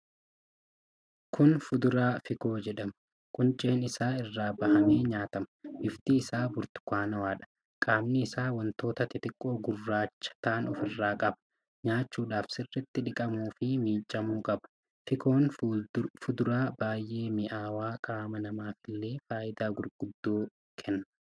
Kun fuduraa Fikoo jedhama. Qunceen isaa irraa bahee nyaatama. bifti isaa burtukaanawaadha. Qaamni isaa wantoota xixiqqoo gugurraacha ta'an ofirraa qab. Nyaachudhaaf sirriitti dhiqamuufii miicamuu qaba. Fikoon fuduraa baay'ee mi'aawudha. Qaama namaaf illee faayidaalee gurguddoo kenna.